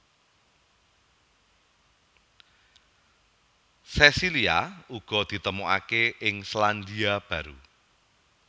Sesilia uga ditemokaké ing Selandia Baru